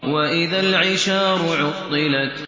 وَإِذَا الْعِشَارُ عُطِّلَتْ